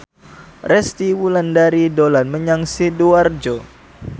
Resty Wulandari dolan menyang Sidoarjo